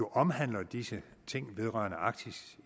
omhandler disse ting vedrørende arktis